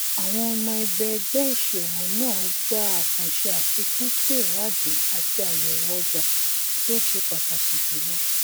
àwọn ọmọ ẹgbẹ ẹgbẹ ìsòwò náà gba àkànṣe àfikún sí ìwádìí àti àyèwò ọjà tí ó ṣe pàtàkì jùlọ